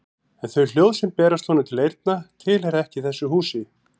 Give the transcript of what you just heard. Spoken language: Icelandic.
En þau hljóð sem berast honum til eyrna tilheyra ekki þessu húsi.